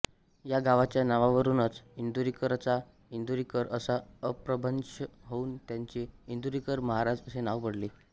या गावाच्या नावावरूनच इंदोरीकरचा इंदुरीकर असा अपभ्रंश होऊन त्यांचे इंदुरीकर महाराज असे नाव पडले